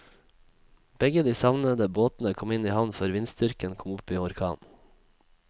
Begge de savnede båtene kom i havn før vindstyrken kom opp i orkan.